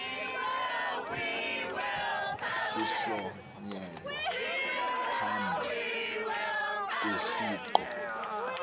sihlonyelwa phambi kwesiqu